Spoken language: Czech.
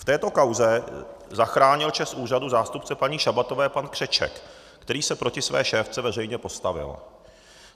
V této kauze zachránil čest úřadu zástupce paní Šabatové pan Křeček, který se proti své šéfce veřejně postavil.